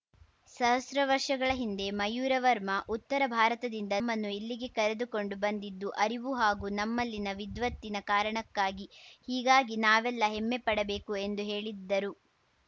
ಸಹಸ್ರ ವರ್ಷಗಳ ಹಿಂದೆ ಮಯೂರವರ್ಮ ಉತ್ತರ ಭಾರತದಿಂದ ನಮ್ಮನ್ನು ಇಲ್ಲಿಗೆ ಕರೆದುಕೊಂಡು ಬಂದಿದ್ದು ಅರಿವು ಹಾಗೂ ನಮ್ಮಲ್ಲಿನ ವಿದ್ವತ್ತಿನ ಕಾರಣಕ್ಕಾಗಿ ಹೀಗಾಗಿ ನಾವೆಲ್ಲಾ ಹೆಮ್ಮೆ ಪಡಬೇಕು ಎಂದು ಹೇಳಿದರು